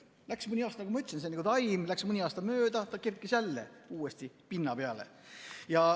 Läks mõni aasta, nagu ma ütlesin, see on nagu taim, mõni aasta läks mööda, ta kerkis jälle uuesti pinna peale.